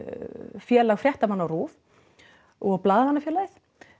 Félag fréttamanna á RÚV og Blaðamannafélagið